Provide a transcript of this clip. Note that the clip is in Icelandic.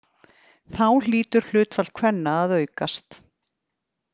Þá hlýtur hlutfall kvenna að aukast!